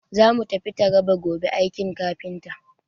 Za mu tafi Taraba gobe aiki kafinta.